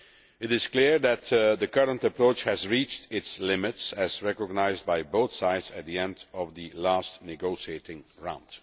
It is clear that the current approach has reached its limits as recognised by both sides at the end of the last negotiation round.